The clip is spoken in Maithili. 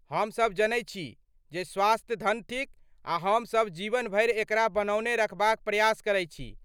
हम सभ जनैत छी जे स्वास्थ्य धन थिक आ हम सभ जीवन भरि एकरा बनौने रखबाक प्रयास करैत छी।